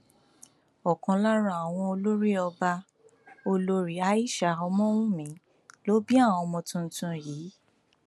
ọkan lára àwọn olórí ọba olórí aishat ọmọwunmi ló bí àwọn ọmọ tuntun yìí